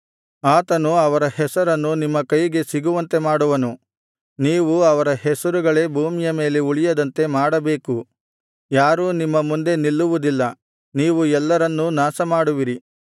ಆತನು ಅವರ ಅರಸರನ್ನು ನಿಮ್ಮ ಕೈಗೆ ಸಿಗುವಂತೆ ಮಾಡಿ ನೀವು ಅವರ ಹೆಸರುಗಳೇ ಭೂಮಿಯ ಮೇಲೆ ಉಳಿಯದಂತೆ ಮಾಡಬೇಕು ಯಾರೂ ನಿಮ್ಮ ಮುಂದೆ ನಿಲ್ಲುವುದಿಲ್ಲ ನೀವು ಎಲ್ಲರನ್ನೂ ನಾಶಮಾಡುವಿರಿ